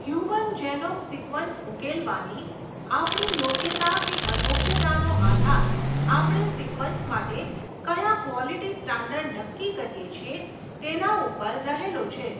Human genome sequence ઉકેલવાની, આપણી યોગ્યતા કે અયોગ્યતાનો આધાર, આપણે સિકવન્સ માટે, કયા ક્વોલીટી સ્ટાન્ડર્ડ નક્કી કરીએ છીએ, તેનાં ઉપર રહેલો છે.